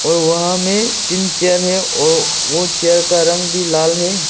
और वहां में तीन चेयर है और वो चेयर का रंग भी लाल है।